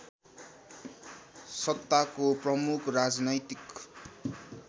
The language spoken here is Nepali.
सत्ताको प्रमुख राजनैतिक